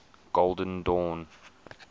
golden dawn